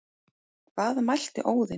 Hvað mælti Óðinn